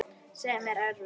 Sem er erfitt.